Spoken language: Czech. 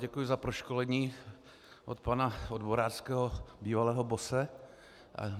Děkuji za proškolení od pana odborářského bývalého bosse.